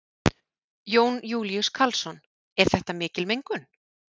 Jón Júlíus Karlsson: Er þetta mikil mengun?